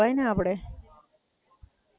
અચ્છા.